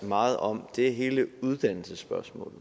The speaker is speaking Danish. meget om er hele uddannelsesspørgsmålet